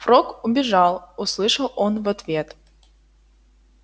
фрог убежал услышал он в ответ